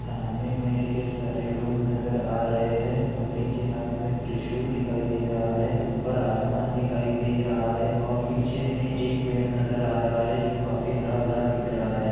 सामने में ढ़ेर सारे लोग नज़र आ रहे हैं मूर्ति के हाथ में त्रिशूल दिखाई दे रहा है ऊपर आसमान दिखाई दे रहा है और पीछे में एक पेड़ नज़र आ रहा है जो काफी हरा-भरा दिख रहा है।